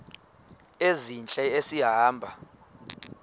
ezintle esi hamba